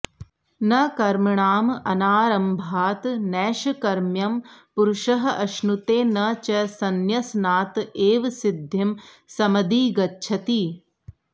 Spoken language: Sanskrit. न कर्मणाम् अनारम्भात् नैष्कर्म्यं पुरुषः अश्नुते न च संन्यसनात् एव सिद्धिं समधिगच्छति